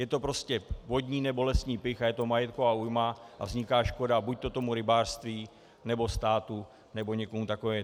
Je to prostě vodní nebo lesní pych a je to majetková újma a vzniká škoda buďto tomu rybářství, nebo státu, nebo někomu takovému.